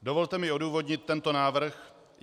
Dovolte mi odůvodnit tento návrh.